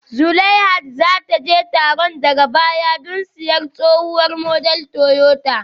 Zulaihat za ta je taron daga baya don siyan tsohuwar model Toyota